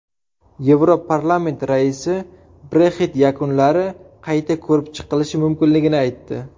Yevroparlament raisi Brexit yakunlari qayta ko‘rib chiqilishi mumkinligini aytdi.